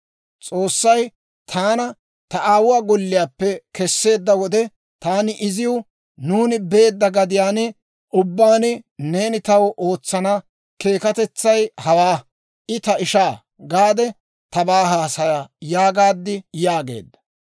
S'oossay taana ta aawuwaa golliyaappe kesseedda wode taani iziw, ‹Nuuni beedda gadiyaan ubbaan neeni taw ootsana keekatetsay hawaa; «I ta ishaa» gaade tabaa haasaya› yaagaad» yaageedda.